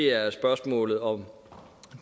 er spørgsmålet om